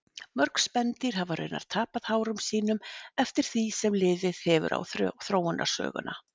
Mörg spendýr hafa raunar tapað hárum sínum eftir því sem liðið hefur á þróunarsöguna.